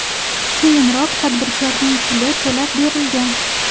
Keyinroq tadbirkorning puli to‘lab berilgan .